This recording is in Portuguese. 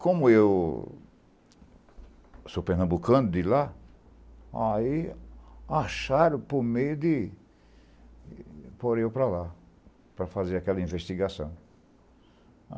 Como eu sou pernambucano de lá, aí acharam por meio de por eu para lá, para fazer aquela investigação.